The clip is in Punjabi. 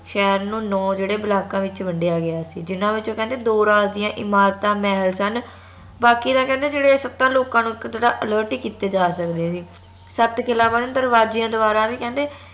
ਸ਼ਹਿਰ ਨੂੰ ਨੋ ਜਿਹੜੇ ਬਲਾਕਾਂ ਵਿਚ ਵੰਡੀਆਂ ਗਯਾ ਸੀ ਜਿੰਨਾ ਵਿਚੋਂ ਕਹਿੰਦੇ ਦੋ ਰਾਜ ਦੀਆ ਇਮਾਰਤਾਂ ਮਹਲ ਸਨ ਬਾਕੀ ਤਾ ਕਹਿੰਦੇ ਸੱਤਾ ਲੋਕਾਂ ਨੂੰ ਇਕ ਜੇਹੜਾ alert ਹੀ ਕੀਤੇ ਜਾ ਸਕਦੇ ਸੀ ਸਤ ਕਿਲਾ ਬੰਦ ਦਰਵਾਜਿਆਂ ਦ੍ਵਾਰਾ ਵੀ ਕਹਿੰਦੇ